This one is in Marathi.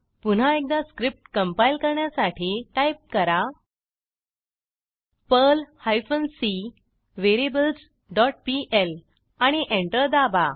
पुन्हा एकदा स्क्रिप्ट कंपाईल करण्यासाठी टाईप करा Perl hyphen C variables dot PL आणि एंटर दाबा